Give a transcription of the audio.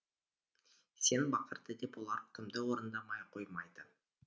сен бақырды деп олар үкімді орындамай қоймайды